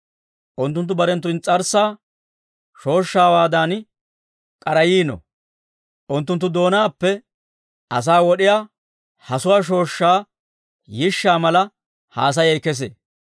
Unttunttu barenttu ins's'arssaa shooshshaawaadan k'arayiino; unttunttu doonaappe asaa wod'iyaa hasuwaa shooshshaa yishshaa mala haasayay kesee.